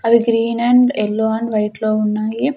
అవి green and yellow and white లో ఉన్నాయి.